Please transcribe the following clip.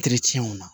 na